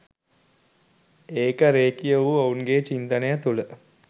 ඒක රෙඛීය වූ ඔවුන්ගේ චින්තනය තුල